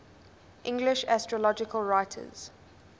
english astrological writers